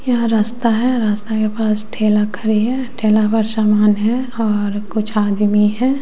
यह रास्ता है रास्ता के पास ठेला खड़ी है ठेला पर समान है और कुछ आदमी है।